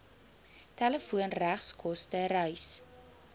telefoon regskoste reis